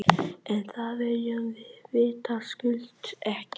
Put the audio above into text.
En það viljum við vitaskuld ekki.